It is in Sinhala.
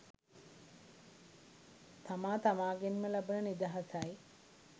තමා තමාගෙන්ම ලබන නිදහසයි.